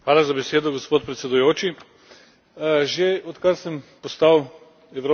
Že odkar sem postal evropski poslanec, me je to vprašanje zelo vznemirjalo.